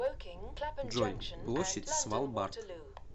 джой площадь свалбард